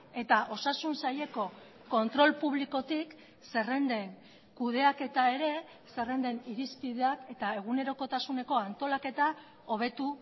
eta osasun saileko kontrol publikotik zerrenden kudeaketa ere zerrenden irizpideak eta egunerokotasuneko antolaketa hobetu